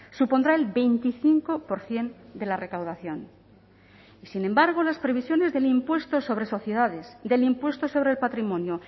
supondrá el veinticinco por ciento de la recaudación sin embargo las previsiones del impuesto sobre sociedades del impuesto sobre el patrimonio